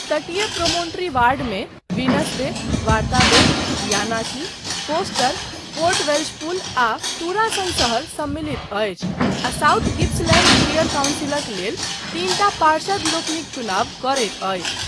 तटीय प्रोमोन्ट्री वार्डमे Venus Bay, Waratah Bay, Yanakie, Foster, Port Welshpool आ तूरा सन शहर सम्मिलित अछि आ साउथ गिप्सलैंड शियर काउंसिलक लेल तीनटा पार्षदलोकनिक चुनाव करैत अछि।